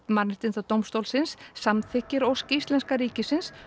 Mannréttindadómstólsins samþykkir ósk íslenska ríkisins